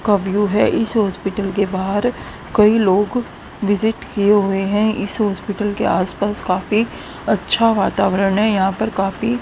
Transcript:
का व्यू है इस हॉस्पिटल के बाहर कई लोग विजिट किए हुए हैं इस हॉस्पिटल के आसपास काफी अच्छा वातावरण है यहां पर काफी--